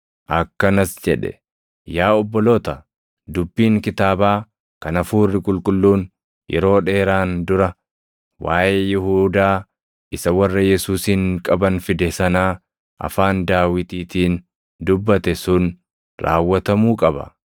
Akkanas jedhe; “Yaa obboloota, dubbiin kitaabaa kan Hafuurri Qulqulluun yeroo dheeraan dura waaʼee Yihuudaa isa warra Yesuusin qaban fide sanaa afaan Daawitiitiin dubbate sun raawwatamuu qaba.